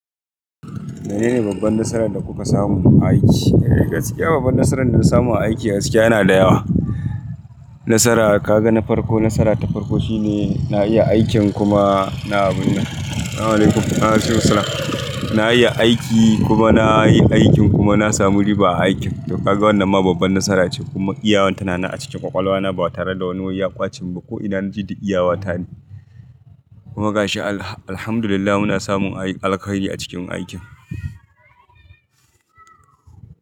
Menene babban nasaran da kuka samu a aiki? Gaskiya babban nasaran da na samu a aiki gaskiya yana da yawa. Nasara kaga na farko, nasara ta farko shine na iya aikin kuma na na iya aiki kuma na yi aikin kuma na samu riba a aikin. To kaga wannan ma babban nasara ce kuma iyawarta na a cikin ƙwaƙwalwa na ba tare da wani waiya ƙwace ba ko'ina na ji da iyawarta ne. Kuma ga shi alhamdulillah muna samun alheri a cikin aikin.